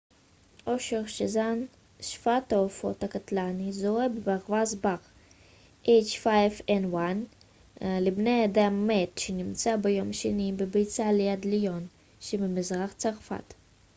אושר שזן שפעת העופות הקטלני לבני אדם h5n1 זוהה בברווז בר מת שנמצא ביום שני בביצה ליד ליון שבמזרח צרפת